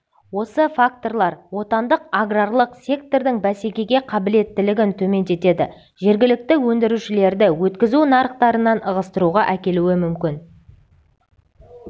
осы факторлар отандық аграрлық сектордың бәсекеге қабілеттілігін төмендетеді жергілікті өндірушілерді өткізу нарықтарынан ығыстыруға әкелуі мүмкін